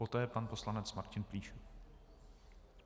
Poté pan poslanec Martin Plíšek.